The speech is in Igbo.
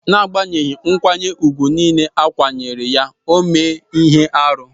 N'agbanyeghi nkwanye ùgwù nile a kwanyere ya, o mee ihe arụ.